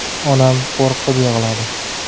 Onam qo‘rqib yig‘ladi.